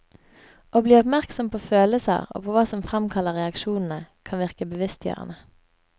Å bli oppmerksom på følelser og på hva som fremkaller reaksjonene, kan virke bevisstgjørende.